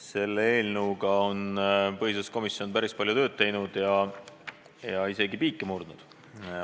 Selle eelnõuga on põhiseaduskomisjon päris palju tööd teinud ja isegi piike murdnud.